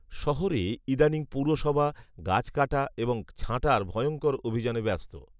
শহরে ইদানীং পুরসভা, গাছ কাটা এবং ছাঁটার ভয়ঙ্কর অভিযানে ব্যস্ত